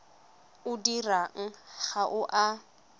o dirwang ga o a